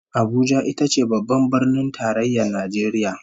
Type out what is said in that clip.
Abuja ita ce Babban Birnin Tarayyar Najeriya